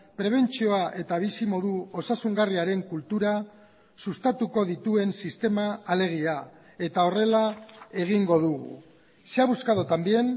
prebentzioa eta bizimodu osasungarriaren kultura sustatuko dituen sistema alegia eta horrela egingo dugu se ha buscado también